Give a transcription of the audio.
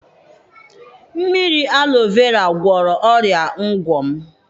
Mmiri alọ vera gwọrọ ọrịa ngwọ m.